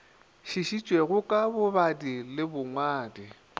šišitšego ka bobadi le bongwadi